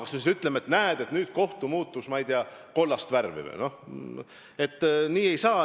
Kas me siis ütleme, et näed, nüüd kohus muutus, ma ei tea, kollast värvi?